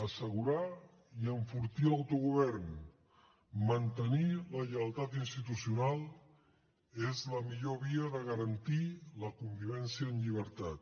assegurar i enfortir l’autogovern mantenir la lleialtat institucional és la millor via de garantir la convivència en llibertat